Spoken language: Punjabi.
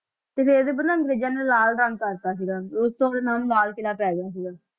ਤੇ ਇਹ ਤੇ ਮਤਲਬ ਅੰਗਰੇਜਾਂ ਨੇ ਲਾਲ ਰੰਗ ਕਰ ਦਿੱਤਾ ਸੀਗਾ, ਤੇ ਉਸ ਤੋਂ ਇਹਦਾ ਨਾਮ ਲਾਲ ਕਿਲ੍ਹਾ ਪੈ ਗਿਆ ਸੀਗਾ।